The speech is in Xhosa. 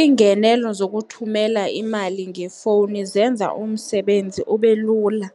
Iingenelo zokuthumela imali ngefowuni zenza umsebenzi ube lula,